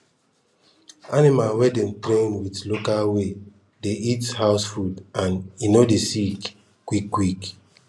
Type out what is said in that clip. animal wey dem train with local ways dey eat house food and en no dey sick quick quick